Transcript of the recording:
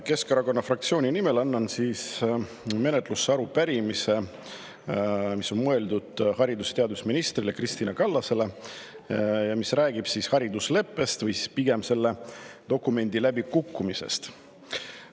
Keskerakonna fraktsiooni nimel annan menetlusse arupärimise, mis on mõeldud haridus- ja teadusminister Kristina Kallasele ning mis räägib haridusleppest või pigem selle dokumendi läbikukkumisest.